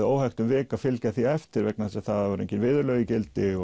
óhægt um vik að fylgja því eftir vegna þess að það voru engin viðurlög í gildi